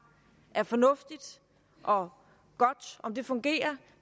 er fornuftigt og godt om det fungerer